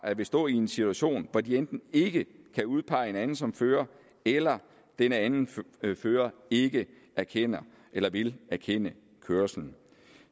vil stå i en situation hvor de enten ikke kan udpege en anden som fører eller den anden fører ikke erkender eller vil erkende kørslen